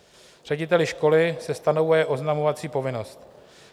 Řediteli školy se stanovuje oznamovací povinnost.